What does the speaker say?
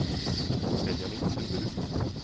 Benjamin Stubberud